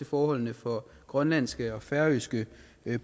forholdene for grønlandske og færøske